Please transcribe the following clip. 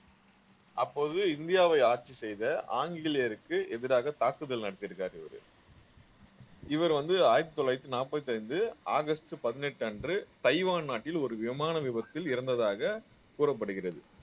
அப்போது இந்தியாவை ஆட்சி செய்த ஆங்கிலேயருக்கு எதிராக தாக்குதல் நடத்திருக்காரு இவரு இவர் வந்து ஆயிரத்தி தொள்ளாயிரத்தி நாற்பத்தி ஐந்து ஆகஸ்ட் பதினெட்டு அன்று தைவான் நாட்டில் ஒரு விமான விபத்தில் இறந்ததாக கூறப்படுகிறது